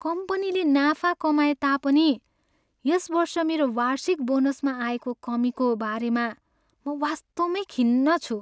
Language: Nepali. कम्पनीले नाफा कमाएता पनि यस वर्ष मेरो वार्षिक बोनसमा आएको कमीको बारेमा म वास्तवमै खिन्न छु।